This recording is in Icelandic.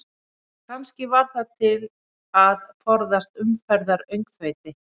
Kannski var það til að forðast umferðaröngþveiti?